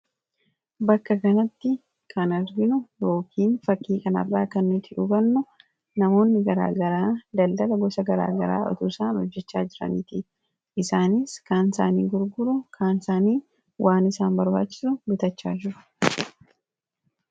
bakka kanatti kan arginu rookiin fakkii kan arraa kannutti dhuganno namoonni garaagaraa daldaga gosa garaagaraa otuu saan hojjechaa jiraniitii isaanis kaansaanii gurguru kaanisaanii waan isaan barbaachisu bitachaa juru